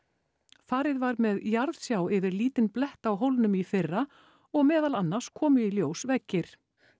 farið var með jarðsjá yfir lítinn blett á hólnum í fyrra og meðal annars komu í ljós veggir